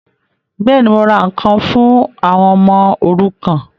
Bẹ́ẹ̀ni, mo ra ǹkan fún àwọn ọmọ òrukàn